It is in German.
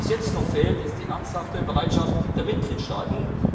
Was jetzt noch fehlt, ist die ernsthafte Bereitschaft der Mitgliedstaaten.